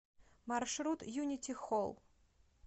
маршрут юнити холл